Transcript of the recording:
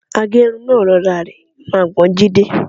Agẹ́run náà rọra rẹ́ irungbọ̀n Jídé.